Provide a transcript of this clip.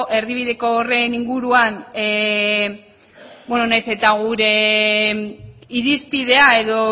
erdibideko horren inguruan nahiz eta gure irizpidea edo